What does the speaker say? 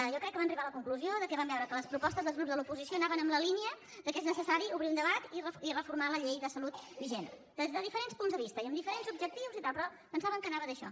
jo crec que van arribar a la conclusió que van veure que les propostes dels grups de l’oposició anaven en la línia que és necessari obrir un debat i reformar la llei de salut vigent des de diferents punts de vista i amb diferents objectius i tal però pensaven que anava d’això